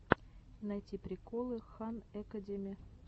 найти приколы хан экэдеми